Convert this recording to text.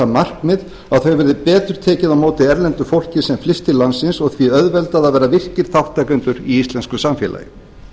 markmið að það verði betur tekið á móti erlendu fólki sem flyst til landsins og því auðveldað að verða virkir þátttakendur í íslensku samfélagi